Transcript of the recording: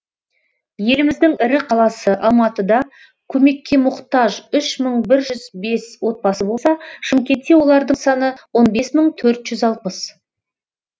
еліміздің ірі қаласы алматыда көмекке мұқтаж үш мың бір жүз бес отбасы болса шымкентте олардың саны он бес мың төрт жүз алпыс